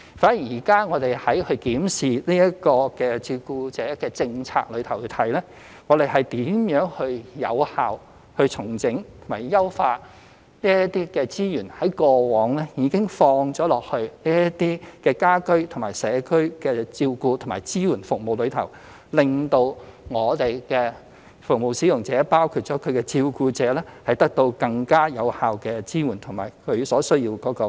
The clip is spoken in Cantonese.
反而現時我們從檢視照顧者政策而言，是如何有效整合及優化這些過往已投放在家居/社區照顧支援服務的資源，以令服務使用者包括其照顧者得到更加有效的支援及其所需要的培訓。